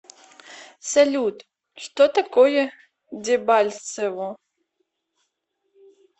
салют что такое дебальцево